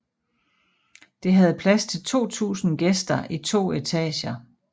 Det havde plads til 2000 gæster i to etager